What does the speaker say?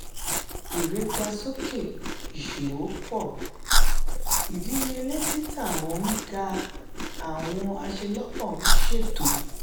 ere ga soke iṣowo pọ idiyele tita wọn ń ga awọn aṣelọpọ ń ṣeto.